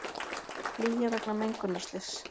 Flýja vegna mengunarslyss